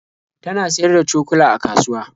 Ta na siyar da cokula a kasuwa.